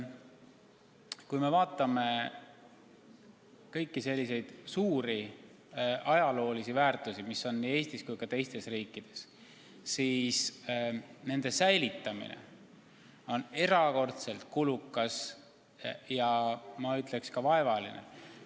Kui me vaatame kõiki ajaloolisi kultuuriväärtusi, mis on nii Eestis kui ka teistes riikides, siis me teame, et nende säilitamine on erakordselt kulukas ja ma ütleksin, ka vaevaline.